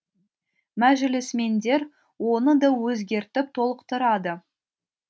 мәжілісмендер оны да өзгертіп толықтырады